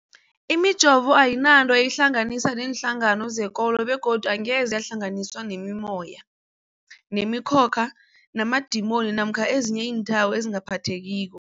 Imijovo ayinanto eyihlanganisa neenhlangano zekolo begodu angeze yahlanganiswa nemimoya, nemi khokha, namadimoni namkha ezinye iinthako ezingaphathekiko.